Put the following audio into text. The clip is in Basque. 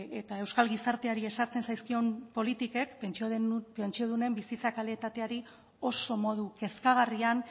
eta euskal gizarteari ezartzen zaizkion politikek pentsiodunen bizitza kalitateari oso modu kezkagarrian